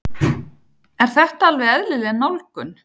Er þetta alveg eðlileg nálgun?